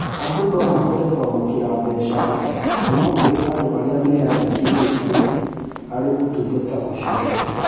Andũ no mahote kwamũkĩra mbeca kuuma kũrĩ andũ arĩa meyandĩkithĩtie harĩ ũtungata ũcio.